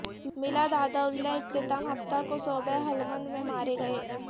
ملا داداللہ اختتام ہفتہ کو صوبہ ہلمند میں مارے گئے